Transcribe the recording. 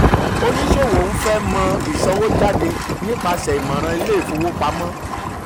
oníṣòwò ń fẹ mọ̀ ìsanwójáde nípasẹ̀ ìmọ̀ràn ilé ìfowopamọ́.